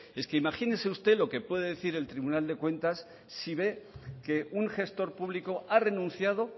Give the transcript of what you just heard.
es que imagínese usted lo que puede decir el tribunal de cuentas si ve que un gestor público ha renunciado